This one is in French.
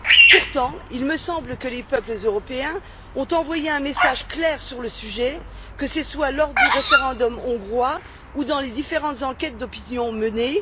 Pourtant, il me semble que les peuples européens ont envoyé un message clair sur le sujet, que ce soit lors du référendum hongrois ou dans les différentes enquêtes d'opinion menées.